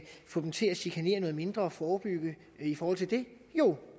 få dem til at chikanere noget mindre og forebygge i forhold til det jo